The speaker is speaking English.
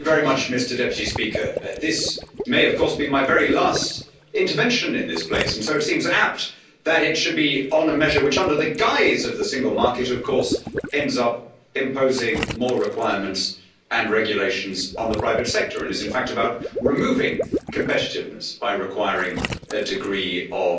Mr President, this may of course be my very last intervention in this place, and so it seems apt that it should be on a measure which, under the guise of the single market, of course ends up imposing more requirements and regulations on the private sector, and is in fact about removing competitiveness by requiring a degree of